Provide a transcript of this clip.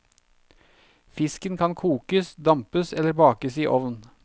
Fisken kan kokes, dampes eller bakes i ovn.